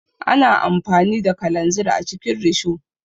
Ana amfani da kalanzir a cikin risho.